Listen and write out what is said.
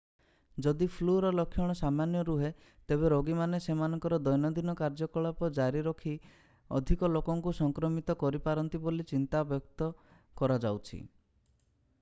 ଯଦି ଫ୍ଲୁର ଲକ୍ଷଣ ସାମାନ୍ୟ ରୁହେ ତେବେ ରୋଗୀମାନେ ସେମାନଙ୍କର ଦୈନନ୍ଦିନ କାର୍ଯ୍ୟକଳାପ ଜାରି ରଖି ଅଧିକ ଲୋକଙ୍କୁ ସଂକ୍ରମିତ କରିପାରନ୍ତି ବୋଲି ଚିନ୍ତା ବ୍ୟକ୍ତ କରାଯାଉଛି